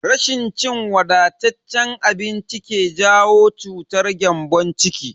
Rashin cin wadataccen abinci ke jawo cutar gyambon ciki.